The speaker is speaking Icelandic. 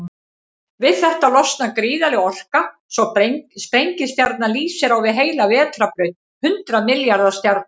Við þetta losnar gríðarleg orka, svo sprengistjarnan lýsir á við heila vetrarbraut hundrað milljarða stjarna.